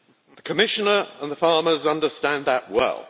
The Commissioner and the farmers understand that well.